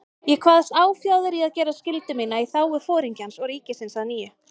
Ég kvaðst áfjáður í að gera skyldu mína í þágu Foringjans og ríkisins að nýju.